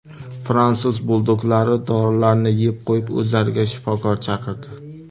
Fransuz buldoglari dorilarni yeb qo‘yib, o‘zlariga shifokor chaqirdi.